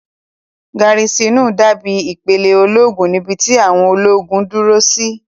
Gárísìnù dábí ìpìlẹ̀ ológun níbi tí àwọn ológun ń dúró sí